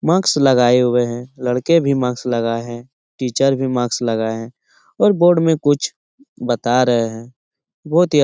Mask लगाए हुए हैं लड़के भी मास्क लगाए हैं टीचर भी मास्क लगाए हैं और बोर्ड में कुछ बता रहें हैं। बहुत ही अ --